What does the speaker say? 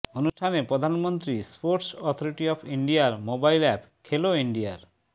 অনুষ্ঠানে প্রধানমন্ত্রী sports authority of ইন্ডিয়ার মোবাইল অ্যাপ খেলো ইন্ডিয়ার